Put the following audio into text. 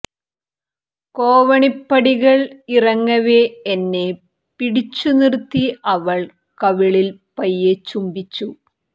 കോണിപ്പടികൾ ഇറങ്ങവേ എന്നെ പിടിച്ചു നിർത്തി അവൾ കവിളിൽ പയ്യെ ചുംബിച്ചു